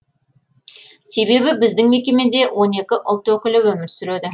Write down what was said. себебі біздің мекемеде он екі ұлт өкілі өмір сүреді